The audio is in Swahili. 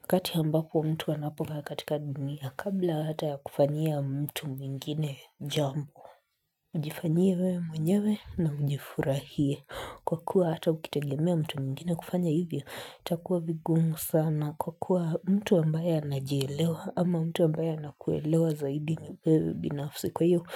Wakati ambapo mtu anapokaa katika dunia kabla hata ya kufanyia mtu mwingine jambo, jifanyie wewe mwenyewe na ujifurahie kwa kuwa hata ukitegemea mtu mwingine kufanya hivyo itakuwa vigumu sana kwa kuwa mtu ambaye anajielewa ama mtu ambaye anakuelewa zaidi ni wewe binafsi kwa hivyo